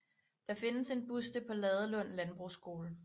Der findes en buste på Ladelund Landbrugsskole